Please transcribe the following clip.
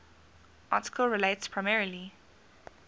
article relates primarily